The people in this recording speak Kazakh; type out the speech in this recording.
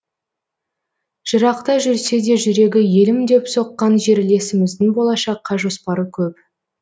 жырақта жүрсе де жүрегі елім деп соққан жерлесіміздің болашаққа жоспары көп